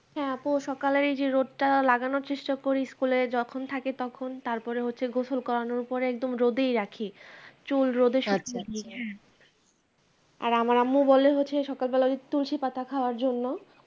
হ্যাঁ আপু সকালের এই যে রোদ টা লাগানোর চেষ্টা করি school এ যখন থাকি তখন তারপরে হচ্ছে গোসল করানোর পরে একদম রোদেই রাখি চুল রোদে শুকিয়ে দি হ্যাঁ আর আমার আম্মু বলে হচ্ছে সকাল বেলায় তুলসী পাতা খাওয়ার জন্য